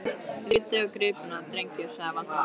Lítið á gripina, drengir! sagði Valdimar.